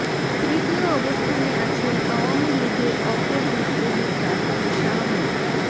তৃতীয় অবস্থানে আছেন আওয়ামী লীগের অপর বিদ্রোহী প্রার্থী শাহ মো